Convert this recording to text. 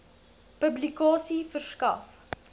publikasie verskaf